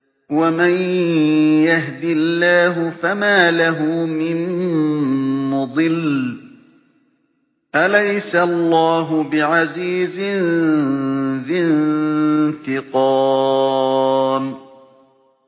وَمَن يَهْدِ اللَّهُ فَمَا لَهُ مِن مُّضِلٍّ ۗ أَلَيْسَ اللَّهُ بِعَزِيزٍ ذِي انتِقَامٍ